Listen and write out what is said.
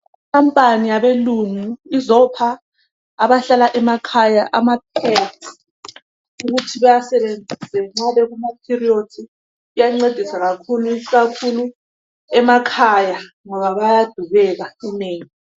Ikhampani yabelungu izopha abahlala emakhaya ama pads ukuthi bawasebenzise nxa bekuma periods iyancedisa kakhulu ikakhulu emakhaya ngoba bayadubeka inengi.